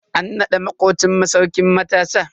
An nada makocin mu Sarkin matasa.